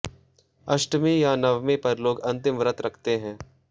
अष्टमी या नवमी पर लोग अंतिम व्रत रखते हैं